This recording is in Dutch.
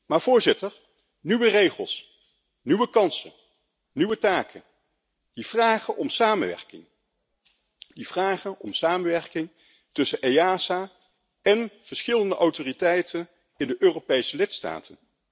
Maar nieuwe regels, nieuwe kansen en nieuwe taken vragen om samenwerking tussen EASA en verschillende autoriteiten in de Europese lidstaten.